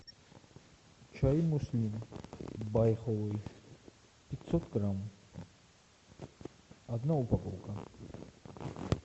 чай муслим байховый пятьсот грамм одна упаковка